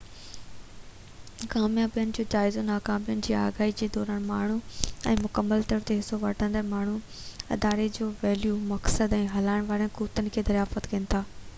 ڪاميابين جو جائزو ۽ ناڪامين جي آگاهي جي دوران ماڻهو ۽ مڪمل طور تي حصو وٺندڙ ماڻهو اداري جي ويليو مقصد ۽ هلائڻ وارين قوتن کي دريافت ڪن ٿا